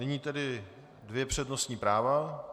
Nyní tedy dvě přednostní práva.